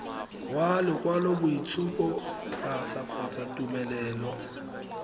wa lokwaloboitshupo pasa kgotsa tumelelo